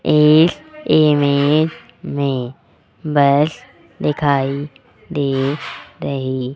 इस इमेज मे बस दिखाई दे रही --